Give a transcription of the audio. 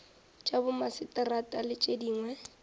tša bomaseterata le tše dingwe